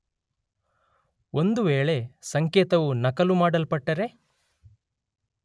ಒಂದು ವೇಳೆ ಸಂಕೇತವು ನಕಲು ಮಾಡಲ್ಪಟ್ಟರೆ